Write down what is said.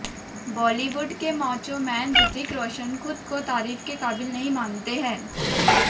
Bollywood के macho man Hrithik Roshan खुद को तारीफ के काबिल नहीं मानते हैं